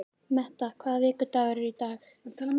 Metta, hvaða vikudagur er í dag?